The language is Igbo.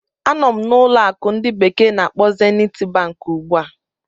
Anọ m na ụlọ akụ ndi bekee na-akpo Zeniti Bank ugbu a.